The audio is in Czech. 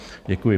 Děkuji.